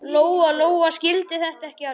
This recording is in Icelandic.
Lóa-Lóa skildi þetta ekki alveg.